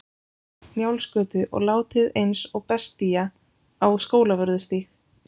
Njálsgötu og látið eins og bestía á Skólavörðustíg.